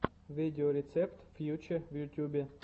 видеорецепт фьюче в ютубе